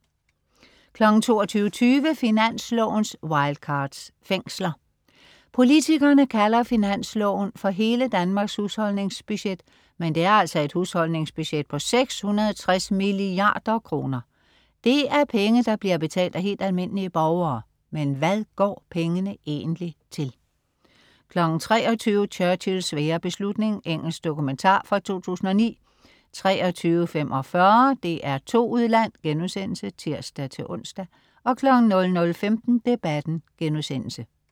22.20 Finanslovens Wildcards. Fængsler. Politikerne kalder Finansloven for "hele Danmarks husholdningsbudget", men det er altså et husholdningsbudget på 660 milliarder kroner. Det er penge, der bliver betalt af helt almindelige borgere. Men hvad går pengene egentlig til? 23.00 Churchills svære beslutning. Engelsk dokumentar fra 2009 23.45 DR2 Udland* (tirs-ons) 00.15 Debatten*